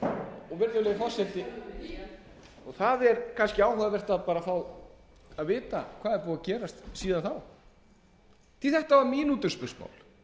var samþykkt virðulegi forseti það er kannski áhugavert að fá að vita hvað er búið að gerast síðan þá því þetta var mínútuspursmál